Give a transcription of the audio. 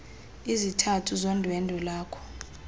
izizathu zondwendwe lwakho